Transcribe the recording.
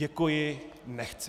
Děkuji, nechci.